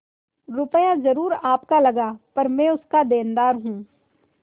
रुपया जरुर आपका लगा पर मैं उसका देनदार हूँ